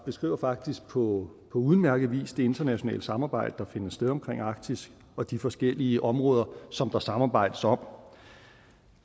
beskriver faktisk på udmærket vis det internationale samarbejde der finder sted om arktis og de forskellige områder som der samarbejdes om